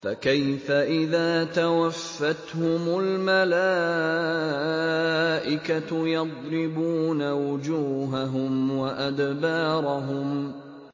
فَكَيْفَ إِذَا تَوَفَّتْهُمُ الْمَلَائِكَةُ يَضْرِبُونَ وُجُوهَهُمْ وَأَدْبَارَهُمْ